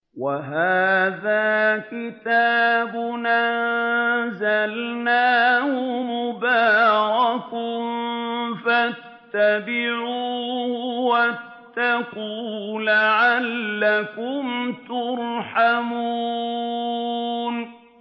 وَهَٰذَا كِتَابٌ أَنزَلْنَاهُ مُبَارَكٌ فَاتَّبِعُوهُ وَاتَّقُوا لَعَلَّكُمْ تُرْحَمُونَ